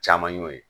Caman y'o ye